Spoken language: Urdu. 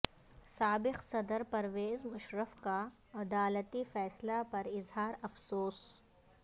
سابق صدر پرویز مشرف کا عدالتی فیصلہ پر اظہار افسوس